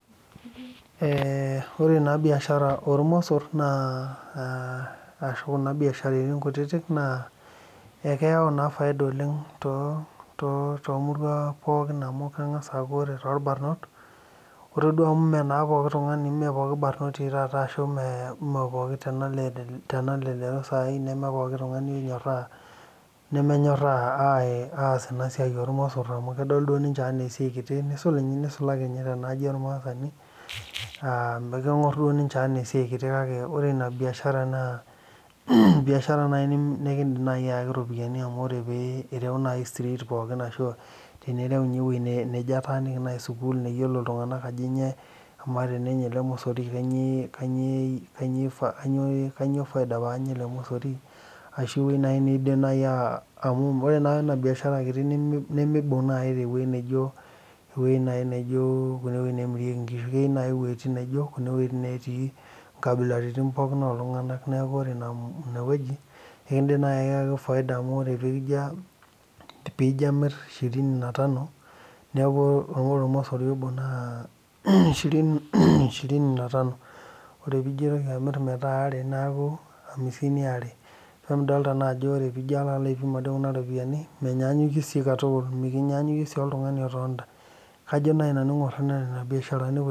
Eeeh ore naa biashara oormos ashua kuna biasharani kutitik ekeng'as aaku ore torbanoy ore duo aku mee pooki barnori meepokin tenalelek aiteru saai nemenpookin ng'ae onyoraa nemenyoraa aaas ena siai ormos kedo ninche enaa esia kiti neisulaki tenaaji ormaasani kedol enaa esiai kiti nedl enaa biashara naaji nikindiim naaji aayaki iropiyiani amu ore pee ireu naaji teenireu ninye ewueji nejo ataaniki school teneiyolou aajo kanyioo peenyai kanyioo faida paanya ele mosori ashau ewueji naaji neidim amu ore naa ena biashara kiti neimebok naaji tewueji naijio kune neemirieki inkishu keyieu naaji iweitin naijio kune wuetin neetii inkabilaritin pookin ooltung'anak neeku ore ina weueji ekindiim naaji Ayaki faida amu ore peijio amir shirini natano neeku ore ormosori obo naa shirini na tano ore peijio aitko amir aare neeku amisini waare peemidol ajo ore peijio atum ade. Kuna ropiyiani mikinyaanyukie sii katukul mikinyaanyukie sii oltung'ani omorita ajo nanu ang'or naa nena biasharani kutitik